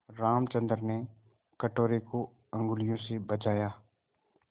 रामचंद्र ने कटोरे को उँगलियों से बजाया